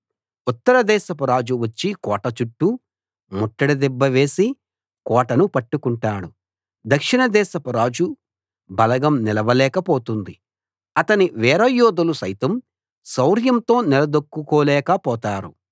ఉత్తరదేశపురాజు వచ్చి కోట చుట్టూ ముట్టడి దిబ్బ వేసి కోటను పట్టుకుంటాడు దక్షిణ దేశపు రాజు బలగం నిలవలేక పోతుంది అతని వీరయోధులు సైతం శౌర్యంతో నిలదొక్కుకోలేక పోతారు